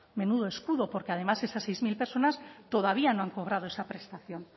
menudo escudo porque además esas seis mil personas todavía no han cobrado esa prestación